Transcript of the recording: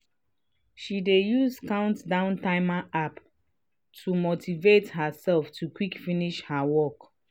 she dey use countdown timer app to motivate herself to quick finish her work.